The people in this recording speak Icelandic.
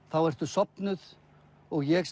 þá ertu sofnuð og ég